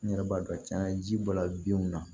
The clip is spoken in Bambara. N yɛrɛ b'a dɔn cɛn ji bɔla binw na